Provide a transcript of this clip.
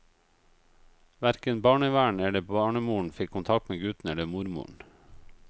Hverken barnevern eller barnemoren fikk kontakt med gutten eller mormoren.